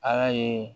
Ala ye